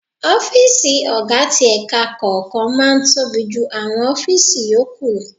Ọ́fíìsì ọ̀gá ti ẹ̀ka kọ̀ọ̀kan máa ń tóbi jù àwọn ọ́fíìsì yòókù.